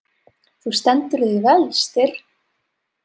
Þú stendur þig vel, Styrr!